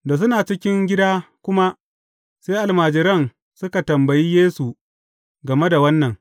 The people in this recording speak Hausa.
Da suna cikin gida kuma, sai almajiran suka tambayi Yesu game da wannan.